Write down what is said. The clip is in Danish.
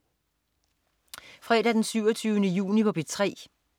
Fredag den 27. juni - P3: